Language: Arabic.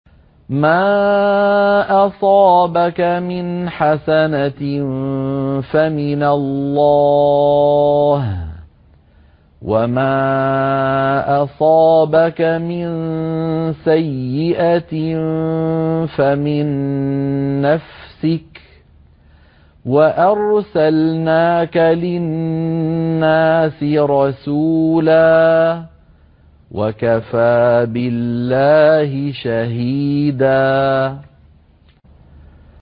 مَّا أَصَابَكَ مِنْ حَسَنَةٍ فَمِنَ اللَّهِ ۖ وَمَا أَصَابَكَ مِن سَيِّئَةٍ فَمِن نَّفْسِكَ ۚ وَأَرْسَلْنَاكَ لِلنَّاسِ رَسُولًا ۚ وَكَفَىٰ بِاللَّهِ شَهِيدًا